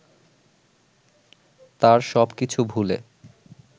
তার সব কিছু ভুলে